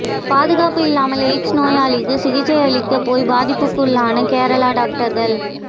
பாதுகாப்பு இல்லாமல் எய்ட்ஸ் நோயாளிக்கு சிகிச்சை அளிக்கப் போய் பாதிப்புக்குள்ளான கேரள டாக்டர்கள்